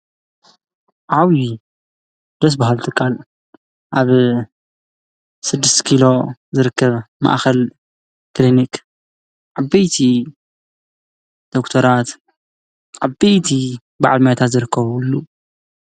ዓብዪ ደስ በሃሊ ትካል፣ ኣብ 6 ኪሎ ዝርከብ ማእከል ክሊኒክ፣ ዓበይቲ ዶክተራት፣ ዓበይቲ በዓል ሞያታትን ዝርከብሉ፡፡